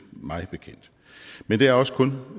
mig bekendt men det er også kun